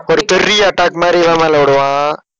ஒரு பெரிய attack மாதிரி, இவன் மேல விடுவான்.